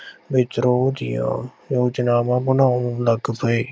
ਵਿਦਰੋਹ ਦੀਆਂ ਯੋਜਨਾਵਾਂ ਬਣਾਉਣ ਲੱਗ ਪਏ।